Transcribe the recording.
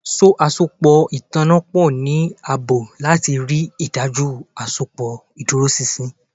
So awọn asopọ itanna pọ ni aabo lati rii daju asopọ iduroṣinṣin